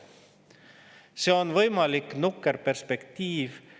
See on võimalik nukker perspektiiv.